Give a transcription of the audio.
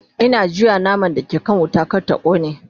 Ina juya naman da ke kan wuta kar ta kone